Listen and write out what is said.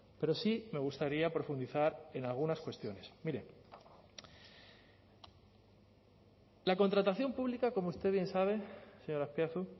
pero sí me gustaría profundizar en algunas cuestiones mire la contratación pública como usted bien sabe señor azpiazu